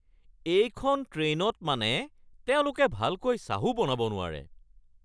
এইখন ট্ৰেইনত মানে তেওঁলোকে ভালকৈ চাহো বনাব নোৱাৰে!